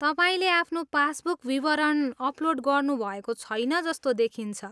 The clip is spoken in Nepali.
तपाईँले आफ्नो पासबुक विवरण अपलोड गर्नुभएको छैन जस्तो देखिन्छ।